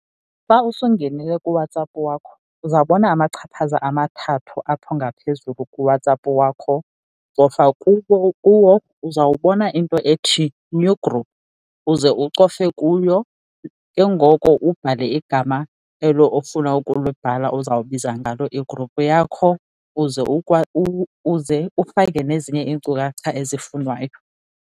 Xa usungenile kuWhatsApp wakho uzawubona umachaphaza amathathu apho ngaphezulu kuWhatsApp wakho, cofa kuwo. Uzawubona into ethi new group uze cofe kuyo. Ke ngoko ubhale igama elo ofuna ukulibhala ozawubiza ngalo igruphu yakho uze uze ufake nezinye iinkcukacha ezifunwayo.